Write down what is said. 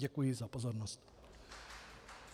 Děkuji za pozornost.